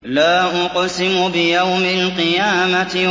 لَا أُقْسِمُ بِيَوْمِ الْقِيَامَةِ